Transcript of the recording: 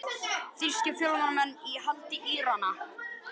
Þýskir fjölmiðlamenn enn í haldi Írana